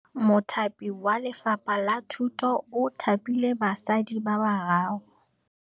Mothapi wa Lefapha la Thutô o thapile basadi ba ba raro.